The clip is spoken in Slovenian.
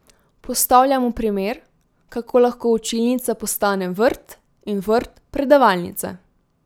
Postavljamo primer, kako lahko učilnica postane vrt in vrt predavalnica.